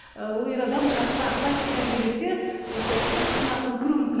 ы ол ер адам жақсы ақыл айтып тәрбиелесе ол сол кезде қыздың ақылы кіруі мүмкін